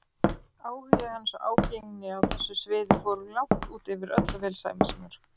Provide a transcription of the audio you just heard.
Áhugi hans og ágengni á þessu sviði fóru langt út yfir öll velsæmismörk.